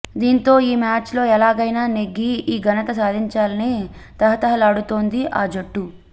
దీంతో ఈ మ్యాచ్లో ఎలాగైనా నెగ్గి ఈ ఘనత సాధించాలని తహతహలాడుతోంది ఆ జట్టు